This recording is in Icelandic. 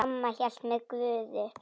Amma hélt með Guði.